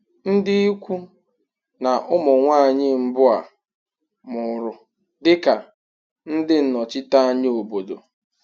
Ndị ikwu na ụmụ nwanyị mbụ a mụrụ dị ka ndị nnọchiteanya obodo.